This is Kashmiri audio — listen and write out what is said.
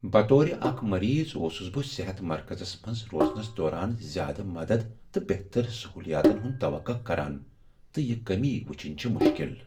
بطور اکھ مریض اوسس بہٕ صحت مرکزس منز روزنس دوران زیادٕ مدد تہٕ بہتر سہولیاتن ہُند توقع کران، تہٕ یِہ کمی ؤچھن چھ مشکل ۔